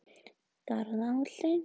Garðaholti